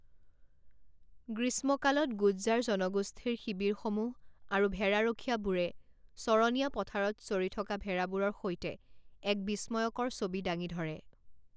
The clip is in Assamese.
গ্ৰীষ্মকালত গুজ্জাৰ জনগোষ্ঠীৰ শিবিৰসমূহ আৰু ভেড়াৰখীয়াবোৰে চৰণীয়া পথাৰত চৰি থকা ভেড়াবোৰৰ সৈতে এক বিষ্ময়কৰ ছবি দাঙি ধৰে।